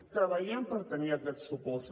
treballem per tenir aquests suports